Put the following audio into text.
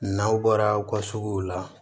N'aw bɔra aw ka suguw la